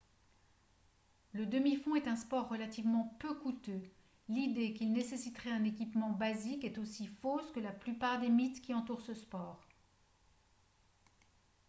le demi-fond est un sport relativement peu coûteux l'idée qu'il nécessiterait un équipement basique est aussi fausse que la plupart des mythes qui entourent ce sport